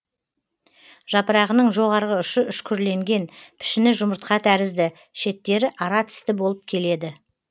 жапырағының жоғарғы ұшы үшкірленген пішіні жұмыртқа тәрізді шеттері ара тісті болып келеді